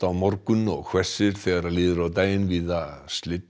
morgun og hvessir þegar líður á daginn víða